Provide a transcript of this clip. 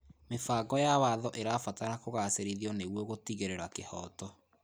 Mĩbango ya watho ĩrabatara kũgacĩrithio nĩguo kũtigĩrĩra kĩhooto.